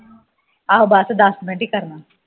ਆਓ ਬਸ ਦਸ ਮਿੰਟ ਹੀ ਕਰਨਾ